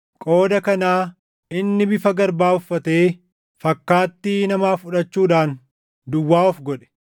qooda kanaa inni bifa garbaa uffatee fakkaattii namaa fudhachuudhaan duwwaa of godhe.